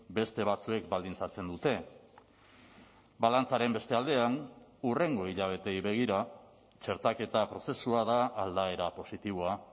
beste batzuek baldintzatzen dute balantzaren beste aldean hurrengo hilabeteei begira txertaketa prozesua da aldaera positiboa